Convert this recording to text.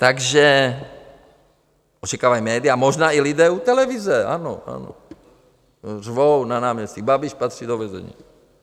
Takže očekávají média, možná i lidé u televize, ano, ano, řvou na náměstí: Babiš patří do vězení.